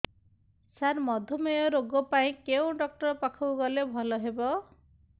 ସାର ମଧୁମେହ ରୋଗ ପାଇଁ କେଉଁ ଡକ୍ଟର ପାଖକୁ ଗଲେ ଭଲ ହେବ